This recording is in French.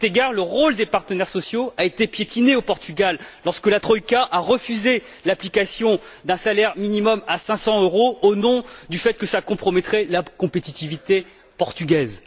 À cet égard, le rôle des partenaires sociaux a été piétiné au Portugal lorsque la troïka a refusé l'application d'un salaire minimal à 500 euros au motif que cela compromettrait la competitivité portugaise.